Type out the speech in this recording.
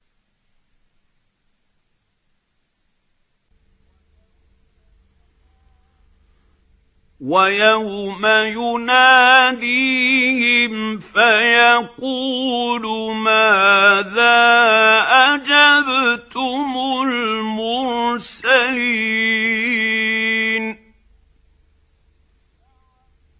وَيَوْمَ يُنَادِيهِمْ فَيَقُولُ مَاذَا أَجَبْتُمُ الْمُرْسَلِينَ